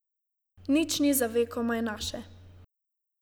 Nič ni za vekomaj naše.